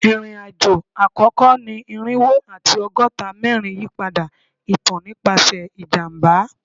Irin-ajo akoko ni irinwo ati ọgọta mẹrin yipada itan nipasẹ ijamba